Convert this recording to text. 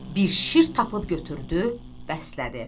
Bir şir tapıb götürdü, bəslədi.